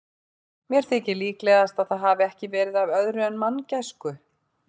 Mér þykir líklegast, að það hafi ekki verið af öðru en manngæsku.